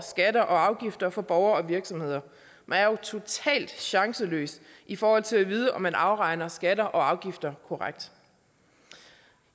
afgifter for borgere og virksomheder man er jo totalt chanceløs i forhold til at vide om man afregner skatter og afgifter korrekt